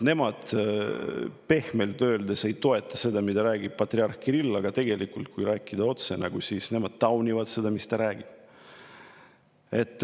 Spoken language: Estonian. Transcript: Nemad pehmelt öeldes ei toeta seda, mida räägib patriarh Kirill, aga tegelikult, kui rääkida otse, siis nad taunivad seda, mida ta räägib.